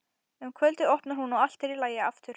Um kvöldið opnar hún og allt er í lagi aftur.